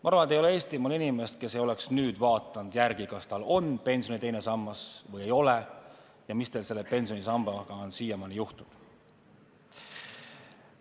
Ma arvan, et ei ole Eestimaal inimest, kes poleks nüüd järele vaadanud, kas tal on teine pensionisammas või ei ole ja mis tal selle pensionisambaga siiamaani juhtunud on.